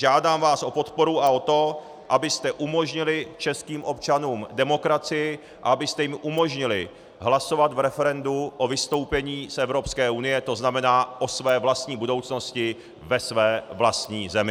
Žádám vás o podporu a o to, abyste umožnili českým občanům demokracii a abyste jim umožnili hlasovat v referendu o vystoupení z Evropské unie, to znamená o své vlastní budoucnosti ve své vlastní zemi.